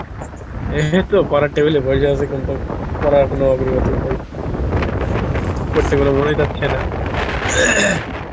এই তো পারার table এ বসে বসে কিন্তু করার কোনো অগ্রগতি নাই পড়তে মন ই চাইছে না